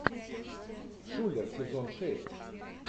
шулер сезон шесть